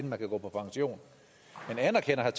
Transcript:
man kan gå på pension men anerkender